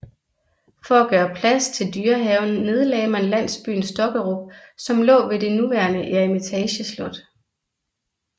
For at gøre plads til dyrehaven nedlagde man landsbyen Stokkerup som lå ved det nuværende Eremitageslot